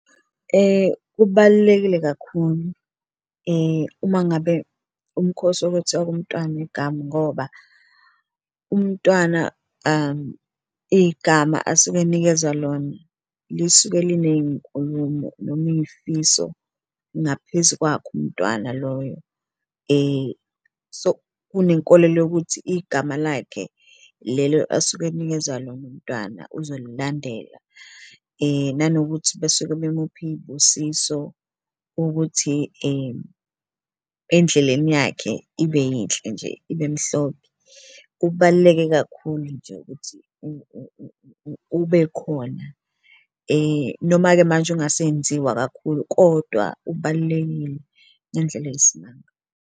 Ubalulekile kakhulu uma ngabe umkhosi wokwethiwa komntwana igama ngoba umntwana igama asuke nikezwa lona lisuke liney'nkulumo noma iy'fiso ngaphezu kwakhe umntwana loyo so, kunenkolelo yokuthi igama lakhe lelo asuke akunikeza lona umntwana uzolilandela. Nanokuthi besuke bemupha iy'busiso ukuthi endleleni yakhe ibe yinhle nje ibe mhlophe, kubaluleke kakhulu nje ukuthi ube khona noma-ke manje ungasenziwa kakhulu kodwa ubalulekile ngendlela eyisimanga.